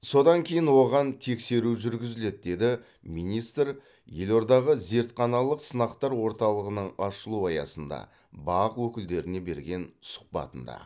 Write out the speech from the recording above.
содан кейін оған тексеру жүргізіледі деді министр елордадағы зертханалық сынақтар орталығының ашылу аясында бақ өкілдеріне берген сұхбатында